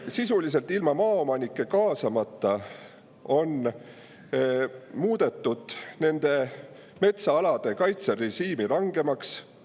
Sisuliselt ilma maaomanikke kaasamata on muudetud nende metsaalade kaitserežiimi rangemaks.